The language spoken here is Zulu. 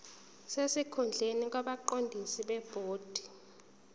sesikhundleni kwabaqondisi bebhodi